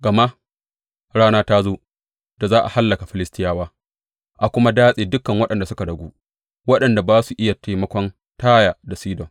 Gama rana ta zo da za a hallaka Filistiyawa a kuma datse dukan waɗanda suka ragu waɗanda za su iya taimakon Taya da Sidon.